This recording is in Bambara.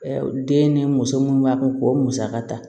Den ni muso munnu b'a kɛ k'o musaka ta